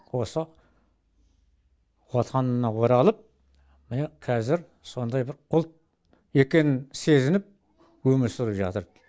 осы отанына оралып міне қазір сондай бір ұлт екенін сезініп өмір сүріп жатыр